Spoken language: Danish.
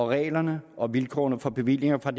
reglerne og vilkårene for bevillinger fra